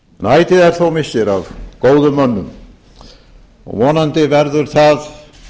ætíð er þó missir af góðum mönnum og vonandi verður það